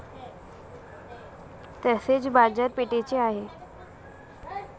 तसेच बाजारपेठेचे आहे.